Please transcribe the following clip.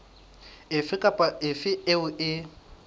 efe kapa efe eo e